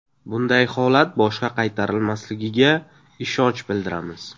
Bunday holat boshqa qaytarilmasligiga ishonch bildiramiz.